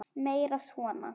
Meira svona.